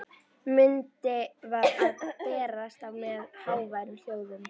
Myndin var að bresta á með háværum hljóðum.